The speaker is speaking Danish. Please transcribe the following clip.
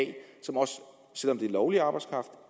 selv om det er lovlig arbejdskraft